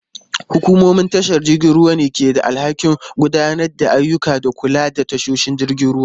Hukumomin tashar jiragen ruwa ne ke da alhakin gudanar da ayyuka da kula da tashoshin jiragen ruwa.